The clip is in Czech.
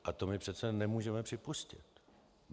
A to my přece nemůžeme připustit.